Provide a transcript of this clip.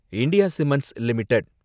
India cements limited